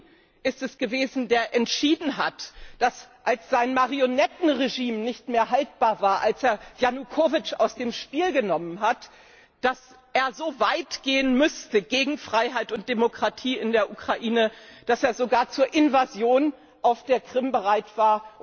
Putin ist es gewesen, der entschieden hat, als sein Marionettenregime nicht mehr haltbar war, als er Janukowytsch aus dem Spiel genommen hat, dass er so weit gehen müsste gegen Freiheit und Demokratie in der Ukraine, dass er sogar zur Invasion auf der Krim bereit war.